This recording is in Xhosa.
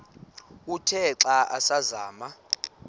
uthe xa asazama